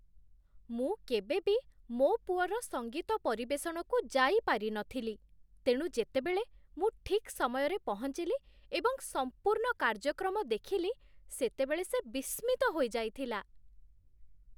ମୁଁ କେବେବି ମୋ ପୁଅର ସଙ୍ଗୀତ ପରିବେଷଣକୁ ଯାଇପାରି ନଥିଲି, ତେଣୁ ଯେତେବେଳେ ମୁଁ ଠିକ୍ ସମୟରେ ପହଞ୍ଚିଲି ଏବଂ ସମ୍ପୂର୍ଣ୍ଣ କାର୍ଯ୍ୟକ୍ରମ ଦେଖିଲି, ସେତେବେଳେ ସେ ବିସ୍ମିତ ହୋଇଯାଇଥିଲା।